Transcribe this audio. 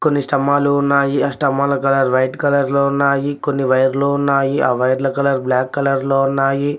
కొన్ని స్తంభాలు ఉన్నాయి ఆ స్తంభాలు కలర్ వైట్ కలర్ లో ఉన్నాయి కొన్ని వైర్లు ఉన్నాయి ఆ వైర్ల కలర్ బ్లాక్ కలర్ లో ఉన్నాయి.